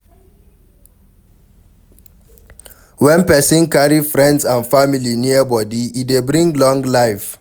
When person carry friends and family near body, e dey bring long life